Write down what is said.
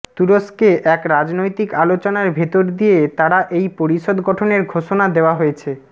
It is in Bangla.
তুরস্কে এক রাজনৈতিক আলোচনার ভেতর দিয়ে তারা এই পরিষদ গঠনের ঘোষণা দেওয়া হয়েছে